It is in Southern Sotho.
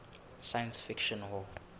science fiction hall